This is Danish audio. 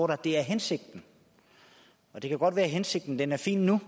der er hensigten og det kan godt være at hensigten er fin nu